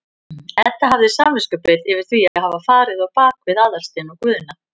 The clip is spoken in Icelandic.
Edda hafði samviskubit yfir því að hafa farið á bak við Aðalstein og Guðna.